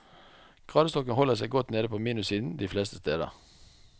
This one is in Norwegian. Gradestokken holder seg godt nede på minussiden de fleste steder.